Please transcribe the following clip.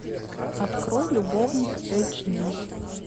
открой любовник эйч ди